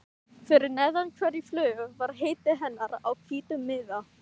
Fyrir neðan hverja flugu var heiti hennar á hvítum miða.